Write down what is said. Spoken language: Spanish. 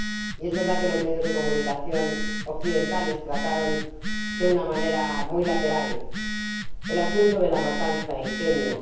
Y es verdad que los medios de comunicación occidentales trataron de una manera muy tangencial el asunto de la matanza en Kenia.